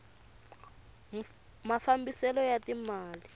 mafambiselo ya ti mali